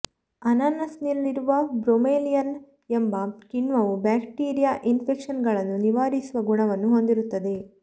ಅನಾನಸಿನಲ್ಲಿರುವ bromelain ಎಂಬ ಕಿಣ್ವವು bacteria ಇನ್ಫೆಕ್ಷನ್ಗಳನ್ನು ನಿವಾರಿಸುವ ಗುಣವನ್ನು ಹೊಂದಿರುತ್ತದೆ